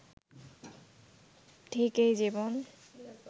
ঠিক এই জীবন